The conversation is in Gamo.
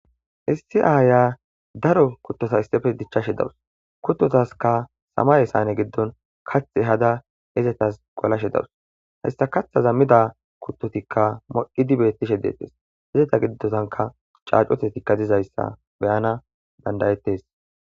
Issi aya darro kutotakka dichashe dawus kuttotaskka katha ehada mizzashe dawus he katha midda kutotokka kehi modhizzayssa besses eta gidinikk caccutezzi dizzayssa be77anas danda77as.